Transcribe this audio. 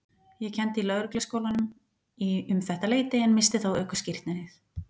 Ég kenndi í Lögregluskólanum um þetta leyti en missti þá ökuskírteinið.